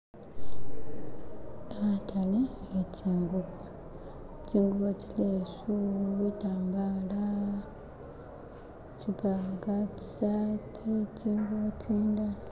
Khatale khe tsingubo, tsingubo , tsilesu, butambala, tsipanga, tsisaati, tsingubo tsindala.